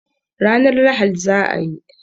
Ranan Lahadi za a yi